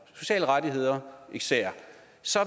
sociale rettigheder især